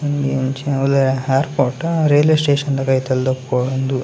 ಅಂಚಿನ ಅವುಲೆ ಏರ್‌ಪೋರ್ಟಾ ರೈಲ್ವೇ ಸ್ಟೇಶನ್‌ದ ಕೈತೆಲೆ ದೆಕ್ಕೋಂದು.